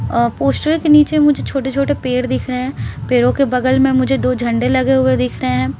अ poster के नीचे मुझे छोटे-छोटे पेड़ दिख रहे हैं पेड़ों के बगल में मुझे दो झंडे लगे हुए दिख रहे हैं।